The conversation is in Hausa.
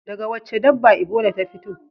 Daga wacce dabba Ebola ta fito?